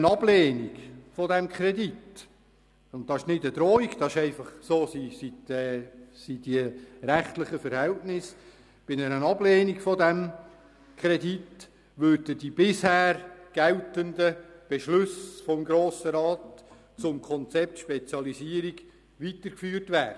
Bei einer Ablehnung des Kredits würden die bisher geltenden Beschlüsse des Grossen Rats zum Konzept «Spezialisierung» weitergeführt werden.